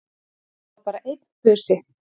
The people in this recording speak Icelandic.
Það var bara einn busi!